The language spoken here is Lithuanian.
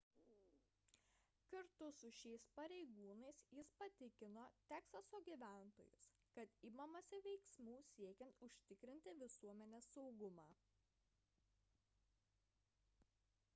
kartu su šiais pareigūnais jis patikino teksaso gyventojus kad imamasi veiksmų siekiant užtikrinti visuomenės saugumą